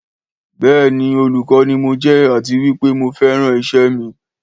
Béèni olùkọ́ ni mo jé àti wípé mo feran iṣẹ́ mi